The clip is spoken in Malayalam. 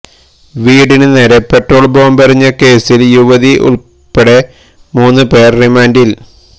വീടിന് നേരെ പെട്രോള് ബോംബെറിഞ്ഞ കേസില് യുവതി ഉൾപ്പെടെ മൂന്ന് പേര് റിമാന്റില്